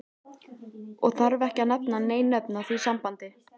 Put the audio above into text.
Og þarf ekki að nefna nein nöfn í því sambandi.